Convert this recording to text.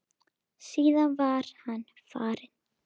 Síðan var hann farinn.